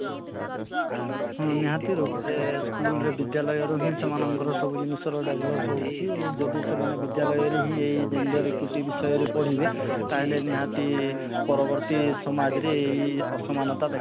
ହଁ ନିହାତି ରୂପରେ school ରେ ବିଦ୍ୟାଳୟରୁ ହିଁ ସେମାନ ଙ୍କର ସବୁ ଜିନିଷର develop ହଉଛି ଯଦି ସେମାନେ ବିଦ୍ୟାଳୟରେ ହିଁ ଏଇ gender equity ବିଷୟରେ ପଢିବେ ତାହେଲେ ନିହାତି ପରବର୍ତୀ ସମାଜରେ ଏଇ ଅସମାନତା